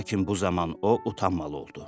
Lakin bu zaman o utanmalı oldu.